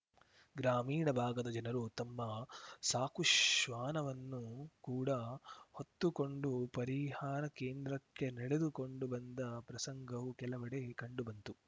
ಗ್ರಾಮೀಣ ಭಾಗದ ಜನರು ತಮ್ಮ ಸಾಕು ಶ್ವಾನವನ್ನು ಕೂಡ ಹೊತ್ತುಕೊಂಡು ಪರಿಹಾರ ಕೇಂದ್ರಕ್ಕೆ ನಡೆದುಕೊಂಡು ಬಂದ ಪ್ರಸಂಗವೂ ಕೆಲವೆಡೆ ಕಂಡುಬಂತು